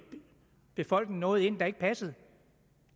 befolkningen noget ind der ikke passede